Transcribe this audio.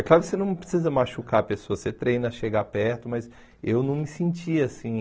É claro que você não precisa machucar a pessoa, você treina a chegar perto, mas eu não me sentia assim.